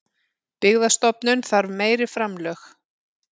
Byggðastofnun þarf meiri framlög